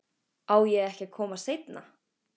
Á ég ekki að koma seinna?